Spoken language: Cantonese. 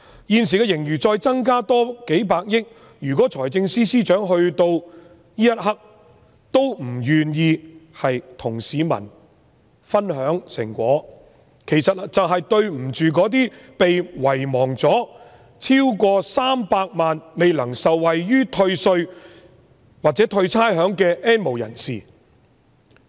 現時盈餘再增加數百億元，如果財政司司長此刻仍不願意與市民分享成果，就是愧對300萬被遺忘了、未能受惠於退稅或退差餉的 "N 無人士"。